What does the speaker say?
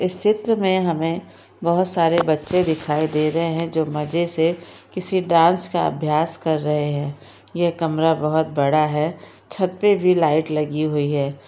इस चित्र में हमें बहुत सारे बच्चे दिखाई दे रहे हैं जो मजे से किसी डांस का अभ्यास कर रहे हैं ये कमरा बहुत बड़ा है छत पे भी लाइट लगी हुई है।